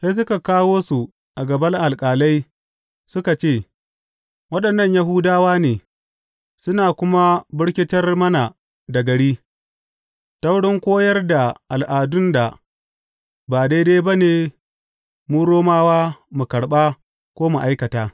Sai suka kawo su a gaban alƙalai suka ce, Waɗannan Yahudawa ne, suna kuma birkitar mana da gari, ta wurin koyar da al’adun da ba daidai ba ne mu Romawa mu karɓa ko mu aikata.